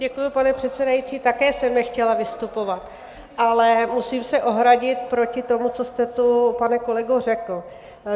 Děkuji, pane předsedající, také jsem nechtěla vystupovat, ale musím se ohradit proti tomu, co jste tu, pane kolego, řekl.